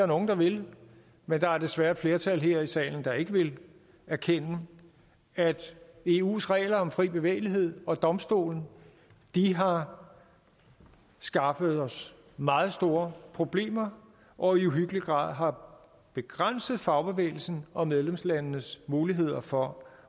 nogle der vil men der er desværre et flertal her i salen der ikke vil erkende at eus regler om fri bevægelighed og eu domstolen har skaffet os meget store problemer og i uhyggelig grad har begrænset fagbevægelsens og medlemslandenes muligheder for